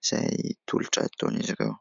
izay tolotra ataon'izy ireo.